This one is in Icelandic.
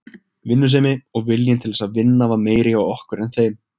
Vinnusemi og viljinn til þess að vinna var meiri hjá okkur en þeim.